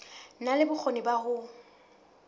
na le bokgoni ba ho